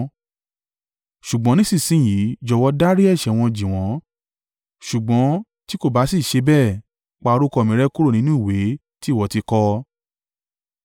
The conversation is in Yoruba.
Ṣùgbọ́n nísinsin yìí, jọ̀wọ́ dárí ẹ̀ṣẹ̀ wọn jì wọ́n ṣùgbọ́n tí kò bá sì ṣe bẹ́ẹ̀, pa orúkọ mi rẹ́ kúrò nínú ìwé tí ìwọ ti kọ.”